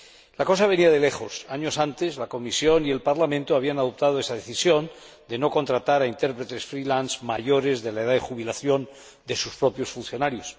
La cosa venía de lejos años antes, la Comisión y el Parlamento habían adoptado esa decisión de no contratar a intérpretes freelance mayores de la edad de jubilación de sus propios funcionarios.